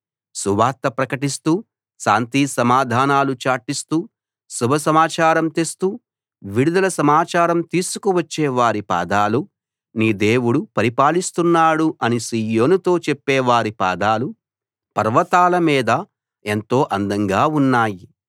సువార్త ప్రకటిస్తూ శాంతిసమాధానాలు చాటిస్తూ శుభ సమాచారం తెస్తూ విడుదల సమాచారం తీసుకు వచ్చే వారి పాదాలు నీ దేవుడు పరిపాలిస్తున్నాడు అని సీయోనుతో చెప్పే వారి పాదాలు పర్వతాల మీద ఎంతో అందంగా ఉన్నాయి